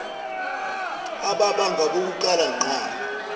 ababa ngabokuqala ngqa